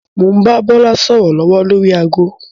Mo ń bá Bọlá sọ̀rọ̀ lọ́wọ́ lórí ago